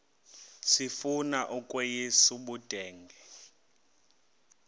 sifuna ukweyis ubudenge